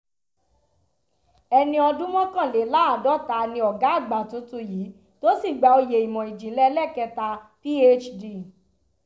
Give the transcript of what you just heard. ẹni ọdún mọ́kànléláàádọ́ta ni ọ̀gá àgbà tuntun yìí tó sì gba oyè ìmọ̀ ìjìnlẹ̀ ẹlẹ́kẹta phd